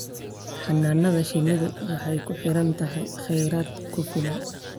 Xannaanada shinnidu waxay ku xiran tahay kheyraad ku filan.